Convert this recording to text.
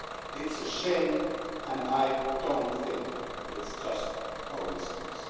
It's a shame, and I don't think it's just a coincidence.